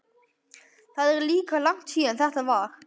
Það er líka langt síðan þetta var.